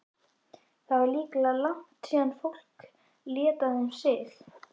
Það er líklega langt síðan fólk lét af þeim sið.